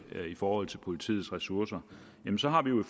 i forhold til politiets ressourcer jamen så har vi jo